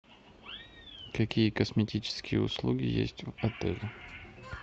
какие косметические услуги есть в отеле